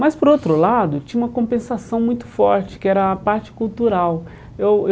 Mas, por outro lado, tinha uma compensação muito forte, que era a parte cultural. Eu